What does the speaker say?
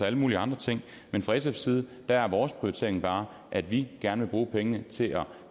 alle mulige andre ting men fra sfs side er vores prioritering bare at vi gerne vil bruge pengene til at